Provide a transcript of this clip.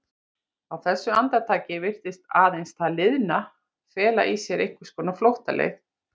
Á þessu andartaki virtist aðeins það liðna fela í sér einhvers konar flóttaleið.